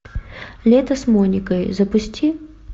лето с моникой запусти